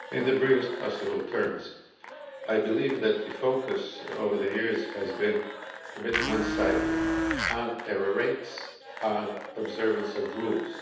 In the briefest possible terms, I believe that the focus over the years has been a bit one sided on error rates and observance of rules.